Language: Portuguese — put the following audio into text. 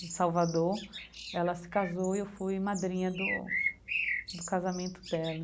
de Salvador, ela se casou e eu fui madrinha do do casamento dela.